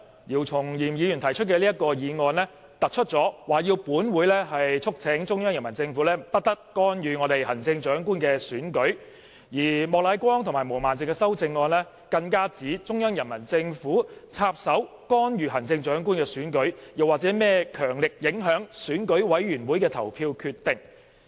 姚松炎議員今天提出的議案，特別要求本會促請中央人民政府不得干預本港的行政長官選舉，而莫乃光議員及毛孟靜議員的修正案更指中央人民政府插手干預行政長官選舉，又或是甚麼"強力影響"選舉委員會委員的投票決定。